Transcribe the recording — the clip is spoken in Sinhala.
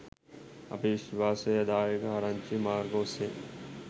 අපි විශ්වාසදායක ආරංචි මාර්ග ඔස්සේ